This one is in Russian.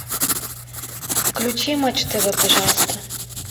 включи матч тв пожалуйста